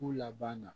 K'u laban na